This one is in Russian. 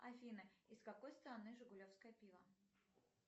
афина из какой страны жигулевское пиво